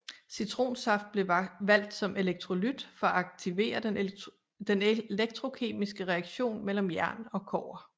Citronsaft blev valgt som elektrolyt for at aktivere den elektrokemiske reaktion mellem jern og kobber